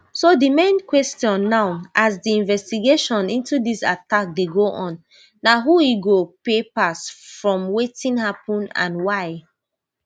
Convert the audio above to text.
so di main question now as di investigation into dis attack dey go on na who e go pay pass from wetin happun and why